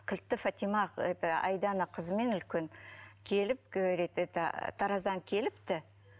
кілтті фатима это айдана қызымен үлкен келіп говорит это тараздан келіпті